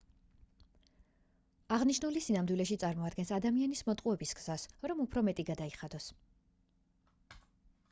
აღნიშნული სინამდვილეში წარმოადგენს ადამიანის მოტყუების გზას რომ უფრო მეტი გადაიხადოს